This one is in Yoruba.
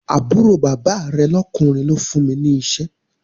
Àbúrò bàbá rẹ̀ lọ́kùnrin ló fún mi ní iṣẹ́